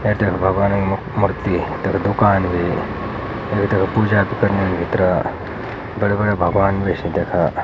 एच म भगवान् मूर्ति तख दूकान भी पूजा कनी भितर बड़ा बड़ा भगवान् विष्णु देखा।